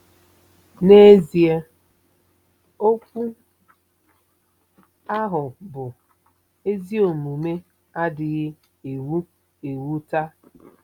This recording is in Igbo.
N'ezie, okwu ahụ bụ́ “ezi omume” adịghị ewu ewu taa.